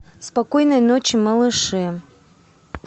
спокойной ночи малыши